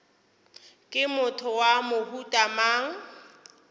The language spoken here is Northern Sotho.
ke motho wa mohuta mang